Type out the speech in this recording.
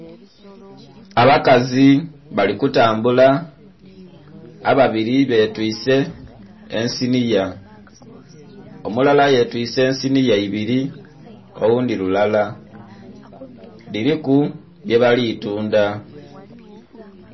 Abakazi bali kutambula. Ababili betwise ensiniya. Omulala yetwiise ensiniya ibiri, oghundhi lulala, dhiliku bye bali tundha